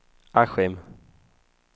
Askim